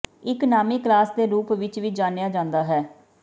ਇੱਕ ਨਾਮੀ ਕਲਾਸ ਦੇ ਰੂਪ ਵਿੱਚ ਵੀ ਜਾਣਿਆ ਜਾਂਦਾ ਹੈ